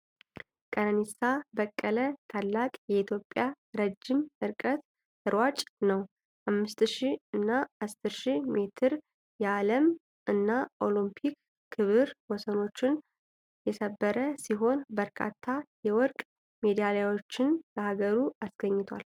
ቀነኒሳ በቀለ ታላቅ የኢትዮጵያ ረጅም ርቀት ሯጭ ነው። በ5,000 እና 10,000 ሜትር የዓለም እና የኦሎምፒክ ክብረ-ወሰኖችን የሰበረ ሲሆን፣ በርካታ የወርቅ ሜዳሊያዎችን ለሀገሩ አስገኝቷል።